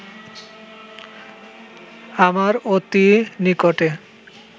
আমার অতি নিকটে